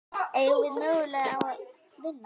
Eigum við möguleika á að vinna?